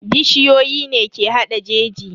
Bishiyoyi ne ke hada jeji.